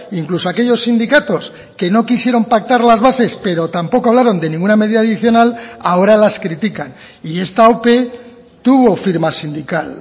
incluso aquellos sindicatos que no quisieron pactar las bases pero tampoco hablaron de ninguna medida adicional ahora las critican y esta ope tuvo firma sindical